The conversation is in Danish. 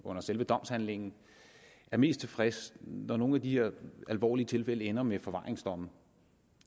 under selve domsforhandlingen er mest tilfreds når nogle af de her alvorlige tilfælde ender med forvaringsdomme